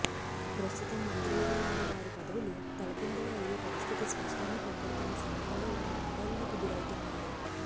ప్రస్తుతం మంత్రులుగా ఉన్న వారి పదవులు తలకిందలు అయ్యే పరిస్థితి స్పష్టంగా కనపడుతున్న సమయంలో వారు ఆందోళనకు గురౌతున్నారు